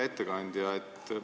Hea ettekandja!